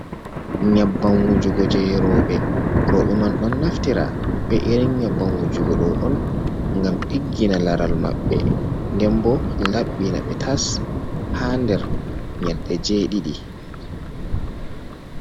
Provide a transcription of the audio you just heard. Nyabban wujugo je rooɓe, roɓe man ɗon naftira be irin nyabbanwujugo do on gam diggina laral maɓɓe, den bo labbina ɓe tas ha nder nyalde je didi